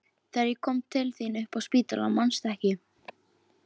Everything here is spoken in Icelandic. Þegar ég kom til þín upp á spítala, manstu ekki?